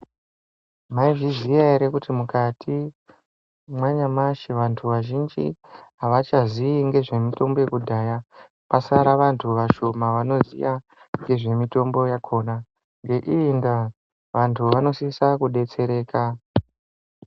Mwaizviziya ere kuti mukati mwanyamashi vantu vazhini avachaziyi ngezve mutombo yekudhaya pasara vantu vashoma vanoziya ngezvemutombo yakona. Ngeiyi ndaa vantu vanosise kudetsereka.